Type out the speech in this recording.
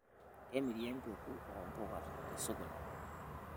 kemiri empeku oo mbuka te sokoni